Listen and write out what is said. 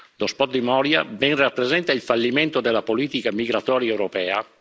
L'hotspot di Moria ben rappresenta il fallimento della politica migratoria europea.